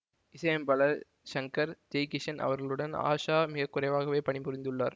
இசை அமைப்பாளர் ஷங்கர்ஜெய்கிஷன் அவர்களுடன் ஆஷா மிகக்குறைவாகவே பணி புரிந்துள்ளார்